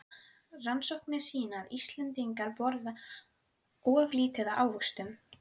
Rannsóknir sýna að Íslendingar borða of lítið af ávöxtum.